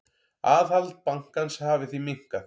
Aðhald bankans hafi því minnkað.